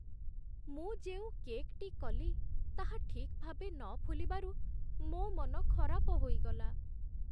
ମୁଁ ଯେଉଁ କେକ୍‌ଟି କଲି ତାହା ଠିକ୍ ଭାବେ ନ ଫୁଲିବାରୁ ମୋ ମନ ଖରାପ ହୋଇଗଲା।